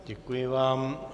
Děkuji vám.